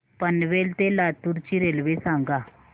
पनवेल ते लातूर ची रेल्वे सांगा